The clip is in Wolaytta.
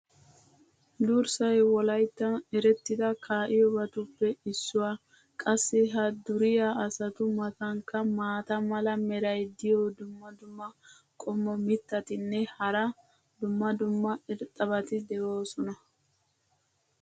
durssay wolayttan erettida kaa'iyoobatuppe issuwa. qassi ha duriya asatu matankka maata mala meray diyo dumma dumma qommo mitattinne hara dumma dumma irxxabati de'oosona.